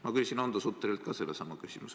Ma küsisin Hando Sutterilt sellesama küsimuse.